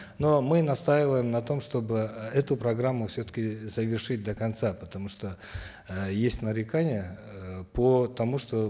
но мы настаиваем на том чтобы эту программу все таки завершить до конца потому что э есть нарекания э по тому что